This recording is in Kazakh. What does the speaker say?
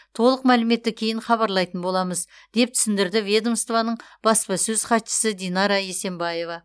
толық мәліметті кейін хабарлайтын боламыз деп түсіндірді ведомствоның баспасөз хатшысы динара есенбаева